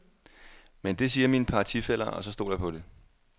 Men det siger mine partifæller, og så stoler jeg på det.